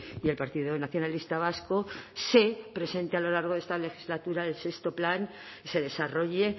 y el partido nacionalista vasco se presente a lo largo de esta legislatura el sexto plan se desarrolle